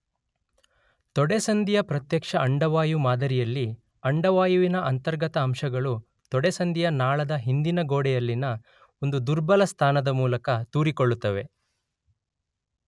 ತೊಡೆಸಂದಿಯ ಪ್ರತ್ಯಕ್ಷ ಅಂಡವಾಯು ಮಾದರಿಯಲ್ಲಿ ಅಂಡವಾಯುವಿನ ಅಂತರ್ಗತ ಅಂಶಗಳು ತೊಡೆಸಂದಿಯ ನಾಳದ ಹಿಂದಿನ ಗೋಡೆಯಲ್ಲಿನ ಒಂದು ದುರ್ಬಲ ಸ್ಥಾನದ ಮೂಲಕ ತೂರಿಕೊಳ್ಳುತ್ತವೆ.